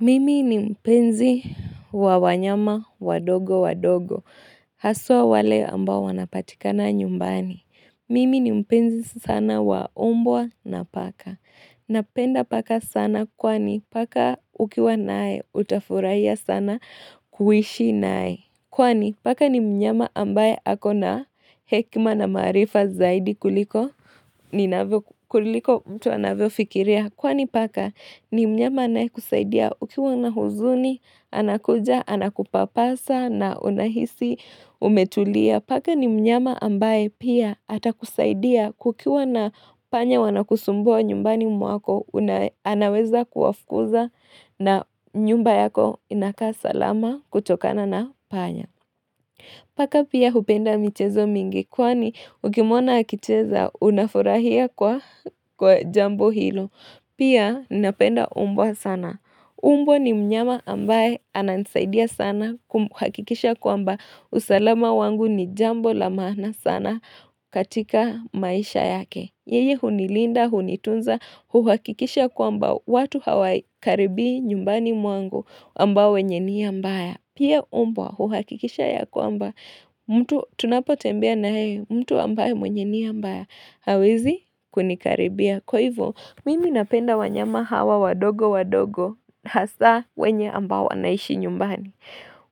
Mimi ni mpenzi wa wanyama wandogo wandogo. Hasa wale ambao wanapatikana nyumbani. Mimi ni mpenzi sana waumbwa na paka. Napenda paka sana kwani paka ukiwa naye utafurahia sana kuishi naye. Kwani paka ni mnyama ambaye ako na hekima na maarifa zaidi kuliko mtu anavyofikiria. Kwani paka ni mnyama anayekusaidia ukiwa na huzuni, anakuja, anakupapasa na unahisi, umetulia. Paka ni mnyama ambaye pia atakusaidia kukiwa na panya wanakusumbua nyumbani mwako, anaweza kuwafukuza na nyumba yako inakaa salama kutokana na panya. Paka pia hupenda michezo mingi kwani ukimwona akicheza unafurahia kwa jambo hilo. Pia napenda umbwa sana. Umbwa ni mnyama ambaye ananisaidia sana kuhakikisha kwamba usalama wangu ni jambo lamaana sana katika maisha yake. Yeye hunilinda, hunitunza, huhakikisha kwamba watu hawaikaribii nyumbani mwangu ambao wenye nia mbaya. Pia umbwa huhakikisha ya kwamba mtu tunapotembea na heye mtu ambaye mwenye nia mbaya hawezi kunikaribia. Kwa hivyo, mimi napenda wanyama hawa wandogo wandogo hasa wenye ambao wanaishi nyumbani.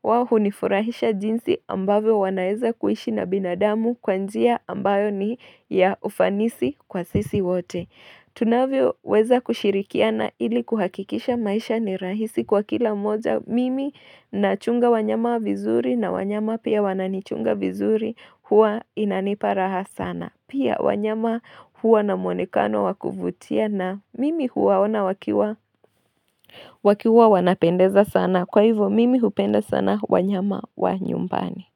Wao hunifurahisha jinsi ambavyo wanaeza kuishi na binadamu kwa njia ambayo ni ya ufanisi kwa sisi wote. Tunavyo weza kushirikiana ili kuhakikisha maisha ni rahisi kwa kila mmoja mimi na chunga wanyama vizuri na wanyama pia wananichunga vizuri huwa inanipa raha sana. Pia wanyama huwa na mwonekano wakuvutia na mimi huwaona wakiwa. Wakiwa wanapendeza sana. Kwa hivyo mimi hupenda sana wanyama wanyumbani.